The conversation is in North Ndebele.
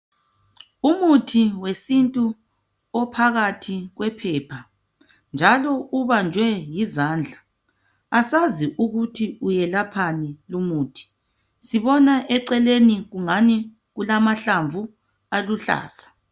Umuthi wesintu ophakathi kwephepha njalo ubanjwe yizandla. Asazi ukuthi uyelaphani lumuthi, sibona eceleni kungani kulamahlamvu aluhlaza.